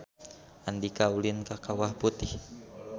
Andika ulin ka Kawah Putih